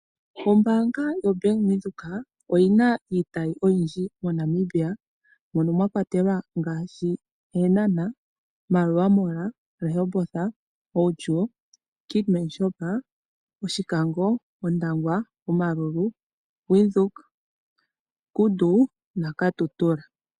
Ombaanga yoBank Windhoek oyi naiitayi oyindji moNamibia mono mwa kwatelwa ngaashi Eenhana, Maerua Mall, Rehoboth, Outjo, Keetmanshoop, Oshikango, Ondangwa, Omaruru, Windhoek, Kudu naKatutura.